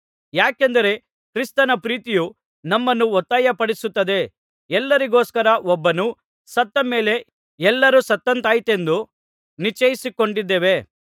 ಯಾಕೆಂದರೆ ಕ್ರಿಸ್ತನ ಪ್ರೀತಿಯು ನಮ್ಮನ್ನು ಒತ್ತಾಯಪಡಿಸುತ್ತದೆ ಎಲ್ಲರಿಗೋಸ್ಕರ ಒಬ್ಬನು ಸತ್ತಮೇಲೆ ಎಲ್ಲರೂ ಸತ್ತಂತಾಯಿತೆಂದು ನಿಶ್ಚಯಿಸಿಕೊಂಡಿದ್ದೇವೆ